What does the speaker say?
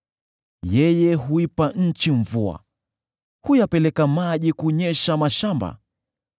Yeye huipa nchi mvua, huyapeleka maji kunyesha mashamba.